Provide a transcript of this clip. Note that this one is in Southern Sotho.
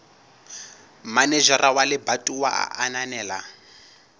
manejara wa lebatowa a ananela